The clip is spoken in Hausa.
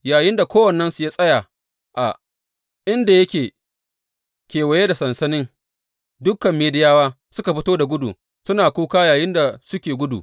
Yayinda kowannensu ya tsaya a inda yake kewaye da sansanin, dukan Midiyawa suka fito da gudu, suna kuka yayinda suke gudu.